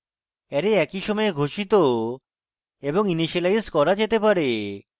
array একই সময়ে ঘোষিত এবং ইনিসিয়েলাইজ করা যেতে পারে